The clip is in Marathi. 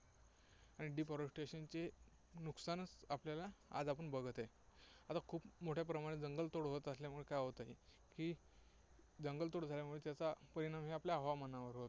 आणि deforestation चे नुकसान च आपल्याला आज आपण बघत आहे. आता खूप मोठ्या प्रमाणत जंगलतोड होत असल्यामुळे काय होत आहे की, जंगलतोड झाल्यामुळे त्याचा परिणाम हा आपल्या हवामानावर होतो.